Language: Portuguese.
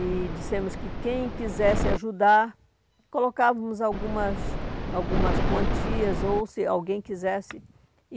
E dissemos que quem quisesse ajudar, colocávamos algumas algumas quantias, ou se alguém quisesse.